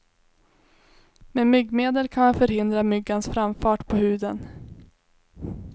Med myggmedel kan man förhindra myggans framfart på huden.